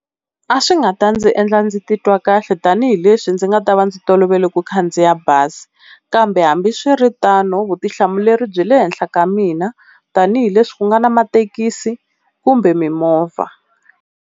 A swi nga ta ndzi endla ndzi titwa kahle tanihileswi ndzi nga ta va ndzi tolovele ku khandziya bazi, kambe hambiswiritano vutihlamuleri byi le henhla ka mina tanihileswi ku nga na mathekisi kumbe mimovha.